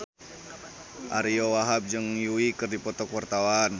Ariyo Wahab jeung Yui keur dipoto ku wartawan